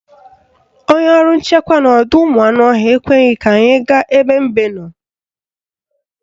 Onye ọrụ nchekwa n'ọdọụmụanụọhịa ekweghị ka anyị gaa ebe mbe nọ